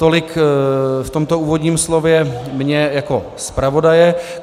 Tolik v tomto úvodním slově mě jako zpravodaje.